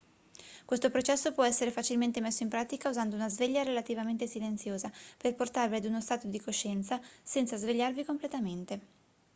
questo processo può essere facilmente messo in pratica usando una sveglia relativamente silenziosa per portarvi ad uno stato di coscienza senza svegliarvi completamente